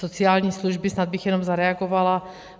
Sociální služby - snad bych jenom zareagovala.